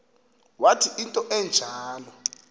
wathi into enjalo